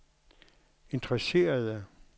interesserede